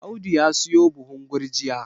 Audu ya siyo buhun gurjiya